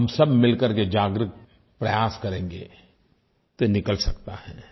हम सब मिल कर के जागरूक प्रयास करेंगे तो निकल सकता है